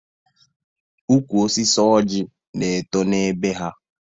Ụkwụ osisi ọjị na eto n'be ha